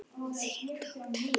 Þín dóttir, Unnur.